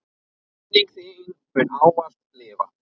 Minning þín mun ávallt lifa.